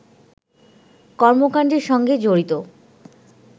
কর্মকাণ্ডের সঙ্গে জড়িত